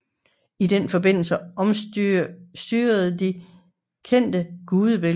I den forbindelse omstyrtedes de kendte gudebilleder